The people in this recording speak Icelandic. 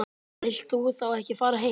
Þú vilt þá ekki fara heim?